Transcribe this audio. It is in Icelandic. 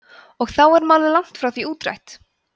og þó er málið langt frá því útrætt